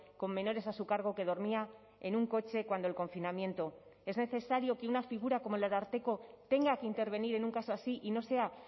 con menores a su cargo que dormía en un coche cuando el confinamiento es necesario que una figura como el ararteko tenga que intervenir en un caso así y no sea